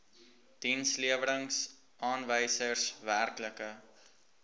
dienslewerings aanwysers werklike